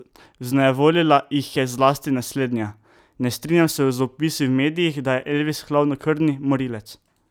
Vznejevoljila jih je zlasti naslednja: "Ne strinjam se z opisi v medijih, da je Elvis hladnokrvni morilec.